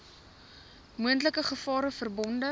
moontlike gevare verbonde